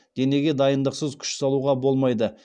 денеге дайындықсыз күш салуға болмайды